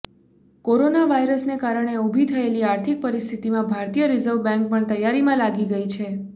corona વાયરસને કારણે ઉભી થયેલી આર્થિક પરિસ્થિતિમાં ભારતીય રિઝર્વ બેંક પણ તૈયારીમાં લાગી ગઈ છે